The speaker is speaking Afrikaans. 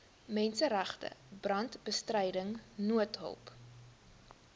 menseregte brandbestryding noodhulp